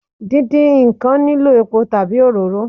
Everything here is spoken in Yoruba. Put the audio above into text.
Díndín ǹkan nílò epo tàbí òróró